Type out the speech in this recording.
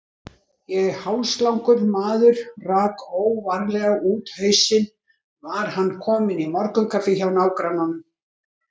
Ef hálslangur maður rak óvarlega út hausinn var hann kominn í morgunkaffi hjá nágrannanum.